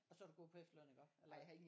Og så er du gået på efterløn iggå? Eller hvad